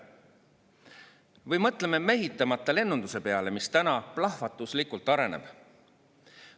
Või mõtleme mehitamata lennunduse peale, mis täna plahvatuslikult areneb.